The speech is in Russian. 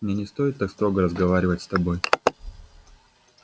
мне не стоит так строго разговаривать с тобой